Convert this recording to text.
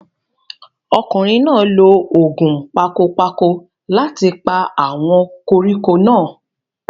ọkùnrin náà lo ògùn pakopako láti pa àwọn koríko náà